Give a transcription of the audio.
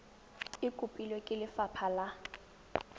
e kopilwe ke lefapha la